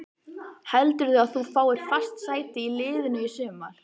Heldurðu að þú fáir fast sæti í liðinu í sumar?